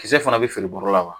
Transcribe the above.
Kisɛ fana bɛ feere bɔrɔ la wa